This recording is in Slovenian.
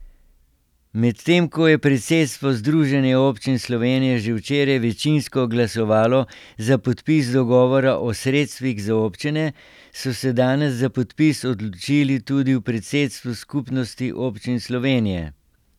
Medtem ko je predsedstvo Združenja občin Slovenije že včeraj večinsko glasovalo za podpis dogovora o sredstvih za občine, so se danes za podpis odločili tudi v predsedstvu Skupnosti občin Slovenije.